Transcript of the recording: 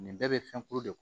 Nin bɛɛ bɛ fɛn kuru de